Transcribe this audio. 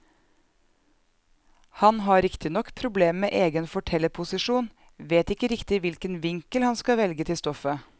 Han har riktignok problemer med egen fortellerposisjon, vet ikke riktig hvilken vinkel han skal velge til stoffet.